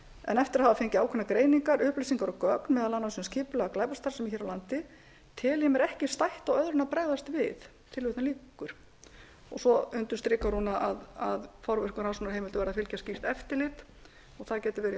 en eftir að hafa fengið ákveðnar greiningar og upplýsingar um gögn meðal annars um skipulagða glæpastarfsemi hér á landi tel ég mér ekki stætt á öðru en að bregðast við svo undirstrikar hún að forvirkum rannsóknarheimildum verði að fylgja slíkt eftirlit og það getur verið í höndum